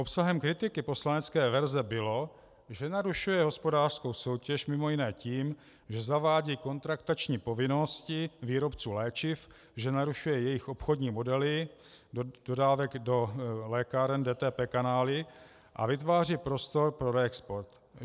Obsahem kritiky poslanecké verze bylo, že narušuje hospodářskou soutěž mimo jiné tím, že zavádí kontraktační povinnosti výrobců léčiv, že narušuje jejich obchodní modely dodávek do lékáren DTP kanály a vytváří prostor pro reexport.